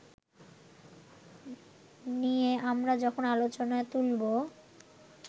নিয়ে আমরা যখন আলোচনা তুলবো